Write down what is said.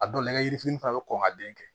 A dɔw la nɛgɛ yirifini fana bɛ kɔn ka den kɛ